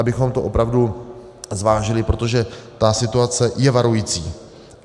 Abychom to opravdu zvážili, protože ta situace je varující.